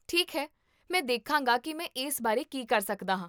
ਠੀਕ ਹੈ, ਮੈਂ ਦੇਖਾਂਗਾ ਕੀ ਮੈਂ ਇਸ ਬਾਰੇ ਕੀ ਕਰ ਸਕਦਾ ਹਾਂ